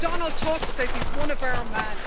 Donald Tusk says he's one of our men.